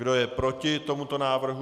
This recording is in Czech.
Kdo je proti tomuto návrhu?